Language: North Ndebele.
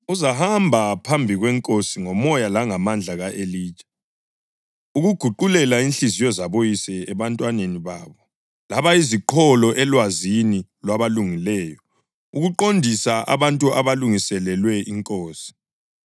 Uzahamba phambili kweNkosi ngomoya langamandla ka-Elija, ukuguqulela inhliziyo zaboyise ebantwaneni babo labayiziqholo elwazini lwabalungileyo, ukuqondisa abantu abalungiselelwe iNkosi.”